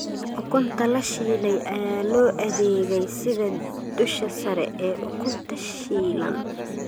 Ukunta la shiilay ayaa loo adeegay sida dusha sare ee ukunta shiilan.